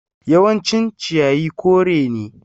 Yawancin ciyayi kore ne.